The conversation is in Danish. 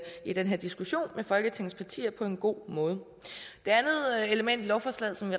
i den her diskussion med folketingets partier på en god måde det andet element i lovforslaget som